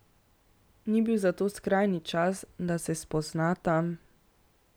Ni bil zato skrajni čas, da se spoznata?